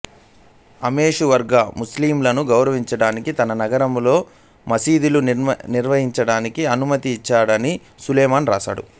అమోఘవర్ష ముస్లింలను గౌరవించాడని తన నగరాల్లో మసీదుల నిర్మాణానికి అనుమతి ఇచ్చాడని సులైమాను రాశాడు